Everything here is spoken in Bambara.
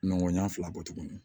Nɔgɔn ɲan fila bɔ tuguni